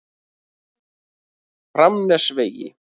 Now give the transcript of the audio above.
Framnesvegi